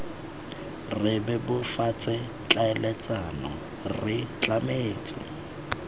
re bebofatse tlhaeletsano re tlametse